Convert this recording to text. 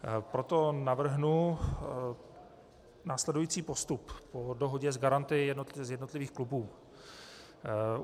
Proto navrhnu následující postup po dohodě s garanty z jednotlivých klubů.